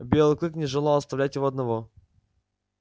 белый клык не желал оставлять его одного